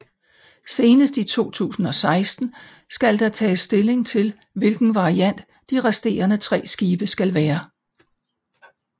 Senest i 2016 skal der tages stilling til hvilken variant de resterende tre skibe skal være